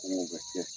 Kungo bɛ kɛ